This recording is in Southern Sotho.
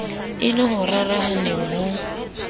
e le o rarahaneng ho